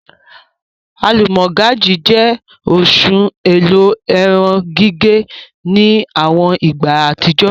Alúmọ̀gájì jẹ́ oṣùn ẹ̀lò èrùn-gígẹ̀ ni awọn ìgbà atijọ.